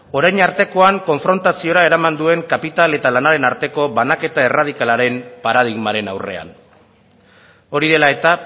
orain artekoan konfrontaziora eraman duen kapital eta lanaren arteko banaketa erradikalaren paradigmaren aurrean hori dela eta